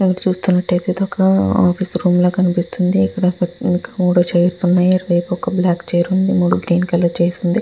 ఇక్కడ మనము చునటు ఏఇతి అది వల ఆఫీస్ లాగా కనిపెస్తునది. మనకు ఇక్కడ వక టేబుల్ లాగా కనిపెస్తునది. మనకు ఇక్కడ కూడా--